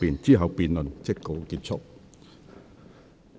之後辯論即告結束。